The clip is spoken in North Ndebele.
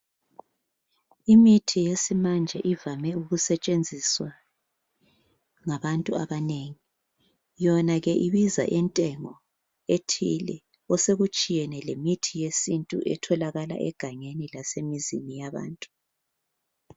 Imithi yesimanje ivame ukusetshenziswa ngabantu abanengi .Yona ke ibiza intengo ethile osekutshiyene lemithi yesintu etholakala egangeni lasemizini yabantu.